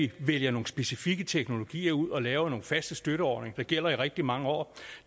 at vælge nogle specifikke teknologier ud og lave nogle faste støtteordninger der gælder i rigtig mange år